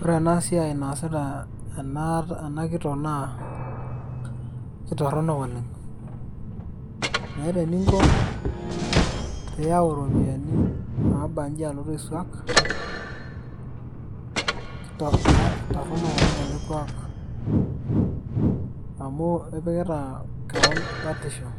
Ore enasiai naasita ena kitok naa, aitorronok oleng'. Meeta eninko piyau iropiyiani nabanji alotu aisuak, torronok oleng' ele kuak. Amu ipikita keon batisho.